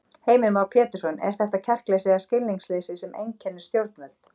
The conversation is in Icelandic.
Heimir Már Pétursson: Er þetta kjarkleysi eða skilningsleysi sem einkennir stjórnvöld?